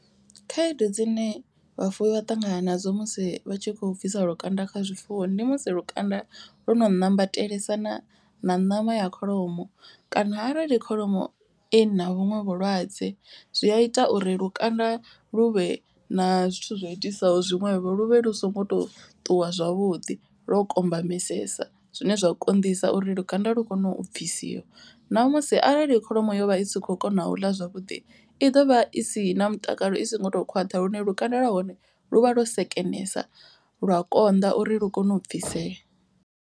Khaedu dzine vhafuwi vha ṱangana nadzo musi vha tshi kho bvisa lukanda kha zwifuwo. Ndi musi lukanda lu no ṋambatelesana na ṋama ya kholomo kana arali kholomo i na vhuṅwe vhulwadze. Zwi a ita uri lukanda lu vhe na zwithu zwa itisaho zwiṅwevho lu vhe lu songo to ṱuwa zwavhuḓi lwo kombamesesa zwine zwa konḓisa uri lukanda lu kone u bvisiwa. Namusi arali heyi kholomo yo vha i sa kho kona u ḽa zwavhuḓi i ḓovha i si na mutakalo i so ngo to khwaṱha lune lukanda lwa hone lu vha lwo sekenesa lwa konḓa uri lu kone u bvisea.